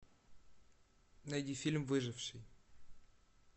найди фильм выживший